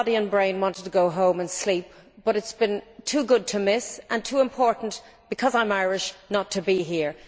My body and brain wanted to go home and sleep, but it has been too good to miss, and too important because I am Irish not to be here.